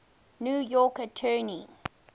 new york attorney